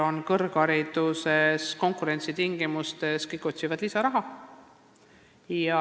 Konkurentsitingimustes otsivad meil ju kõik kõrghariduses lisaraha.